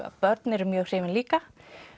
börn eru mjög hrifin líka